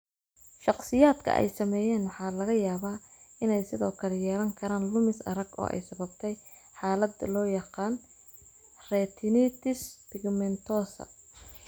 Shakhsiyaadka ay saameeyeen waxaa laga yaabaa inay sidoo kale yeelan karaan lumis arag oo ay sababtay xaalad loo yaqaan retinitis pigmentosa.